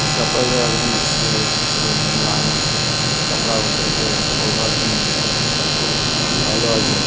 এই কাপড়াগুলো একদম সু-তি-র মুলায়ম কাপড়া বটে যে পড়বার জন্যে খুব ভালো আছে।